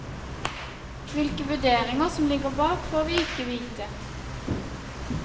Hvilke vurderinger som ligger bak, får vi ikke vite.